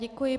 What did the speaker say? Děkuji.